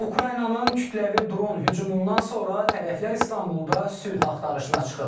Ukraynanın kütləvi dron hücumundan sonra tərəflər İstanbulda sülh axtarışına çıxıb.